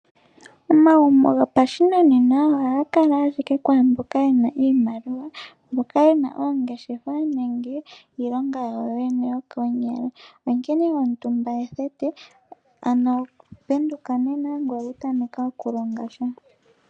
Omagumbo goshinanena ohaga kala owala kwaa mboka ye na iimaliwa, mboka ye na oongeshefa nenge iilonga yawo yokomake. Onkene omutumba ethete, ano penduka nena ngoye wu tameke okulonga sha.